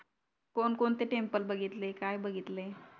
कोण कोणती टेम्पल बघितले काय बघितले